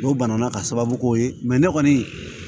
N'o bana na ka sababu k'o ye ne kɔni